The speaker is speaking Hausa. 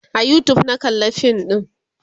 a YouTube na kalla fin ɗin